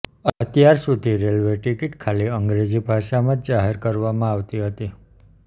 અત્યાર સુધી railway ticket ખાલી અંગ્રેજી ભાષામાં જ જાહેર કરવામાં આવતી હતી